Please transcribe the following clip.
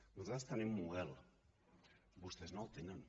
nosaltres tenim model vostès no en tenen